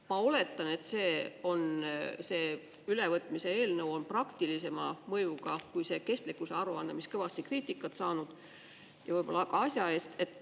Ma oletan, et see ülevõtmise eelnõu on praktilisema mõjuga kui see kestlikkuse aruanne, mis kõvasti kriitikat saanud – ja võib-olla ka asja eest.